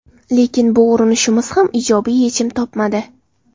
Lekin bu urinishimiz ham ijobiy yechim topmadi.